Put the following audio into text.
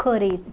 Correto.